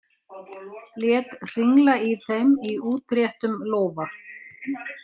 Lét hringla í þeim í útréttum lófa.